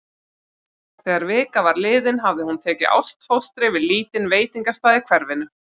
Þegar vika var liðin hafði hún tekið ástfóstri við lítinn veitingastað í hverfinu.